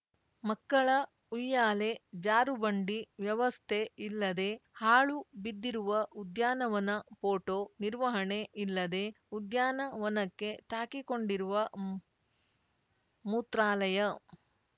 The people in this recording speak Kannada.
ಮಕ್ಕಳ ಉಯ್ಯಾಲೆ ಜಾರುಬಂಡಿ ವ್ಯವಸ್ಥೆ ಇಲ್ಲದೇ ಹಾಳು ಬಿದ್ದಿರುವ ಉದ್ಯಾನವನ ಫೋಟೋ ನಿರ್ವಹಣೆ ಇಲ್ಲದೇ ಉದ್ಯಾನವನಕ್ಕೆ ತಾಕಿಕೊಂಡಿರುವ ಮೂ ಮೂತ್ರಾಲಯ